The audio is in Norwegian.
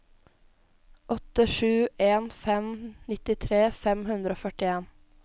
åtte sju en fem nittitre fem hundre og førtien